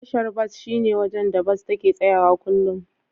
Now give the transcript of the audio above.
Tashar bas shine wajen da Bas take tsayawa kullum.